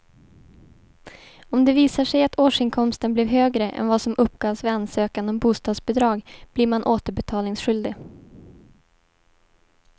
Om det visar sig att årsinkomsten blev högre än vad som uppgavs vid ansökan om bostadsbidrag blir man återbetalningsskyldig.